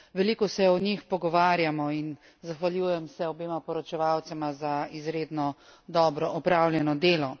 Veliko se o njih pogovarjamo in zahvaljujem se obema poročevalcema za izredno dobro opravljeno delo.